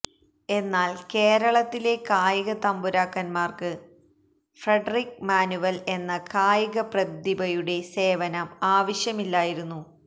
എന്നാൽ കേരളത്തിലെ കായിക തമ്പുരാക്കന്മാർക്ക് ഫ്രഡറിക് മാനുവൽ എന്ന കായികപ്രതിഭയുടെ സേവനം ആവശ്യമില്ലായിരുന്നു